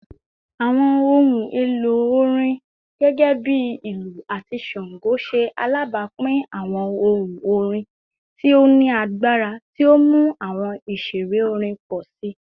Awọn ohun elo orin, gẹgẹbi ilu ati shango, ṣe alabapin awọn ohun orin ti o ni agbara ti o mu awọn iṣere orin pọ si